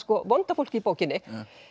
vonda fólkið í bókinni